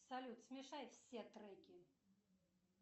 салют смешай все треки